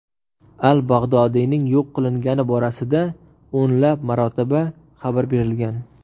Al-Bag‘dodiyning yo‘q qilingani borasida o‘nlab marotaba xabar berilgan.